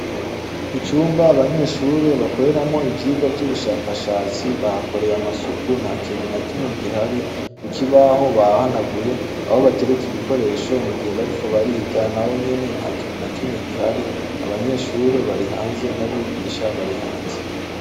Icumba abanyeshure bakoreramo ivyirwa vy'ubushakashatsi bahkoreye amasuku nta kinuna kimwe gihari kuki baho bahanaguye abo batereke ibikoresho mu gihe bariko bariga na wo nyene nta kinuna kimwe gihari abanyeshure bari hanze n'abigisha bari hanze.